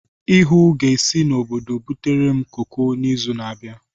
Ihuu ga-esi n'obodo butere m koko n'izu na-abịa.